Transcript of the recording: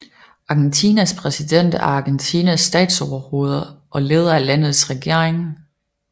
Argentinas præsident er Argentinas statsoverhoved og leder af landets regering